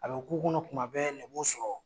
A be k'u kɔnɔ tuma bɛ nin b'u sɔrɔ